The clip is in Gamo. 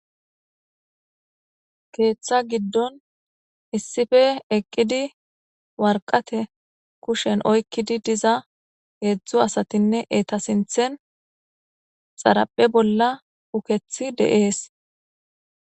Keetha gidon issippe eqid waraqate kusheni oykid diza hezdzdu asatinne eta sinthen xaraphe bolla ukethi de'es,